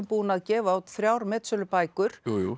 búinn að gefa út þrjár metsölubækur